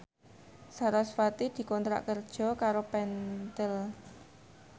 sarasvati dikontrak kerja karo Pentel